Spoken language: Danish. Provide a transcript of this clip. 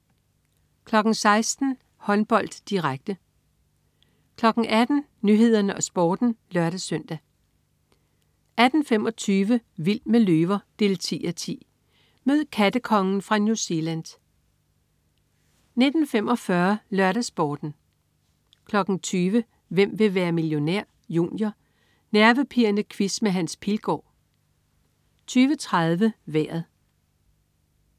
16.00 Håndbold, direkte 18.00 Nyhederne og Sporten (lør-søn) 18.25 Vild med løver 10:10. Mød "kattekongen" fra New Zealand 19.45 LørdagsSporten 20.00 Hvem vil være millionær? Junior. Nervepirrende quiz med Hans Pilgaard 20.30 Vejret